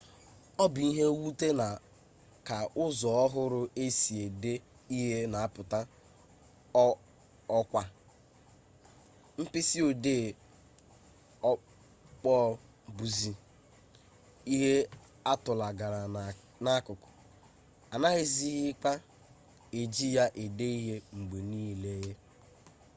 ọ bụ ihe mwute na ka ụzọ ọhụrụ e si ede ihe na-apụta 'ọkwa' mkpịsịodee ọkpọọ bụzi ihe a tụlagara n'akụkụ anaghịzikwa eji ya ede ihe mgbe niile